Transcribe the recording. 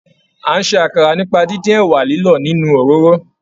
A n ṣe àkàrà nípa díndín ẹwà lilọ nínú òróró.